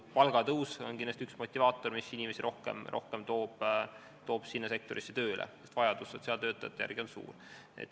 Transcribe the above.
Palgatõus on kindlasti üks motivaatoreid, mis inimesi rohkem ja rohkem sinna sektorisse tööle toob, sest vajadus sotsiaaltöötajate järele on suur.